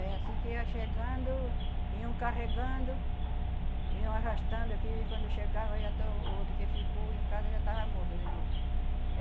É, assim que ia chegando, iam carregando, iam arrastando aqui, e quando chegava já estava o outro que ficou em casa já tava morto de novo.